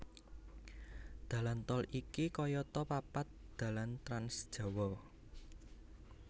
Dalan tol iki kayata papat dalan trans Jawa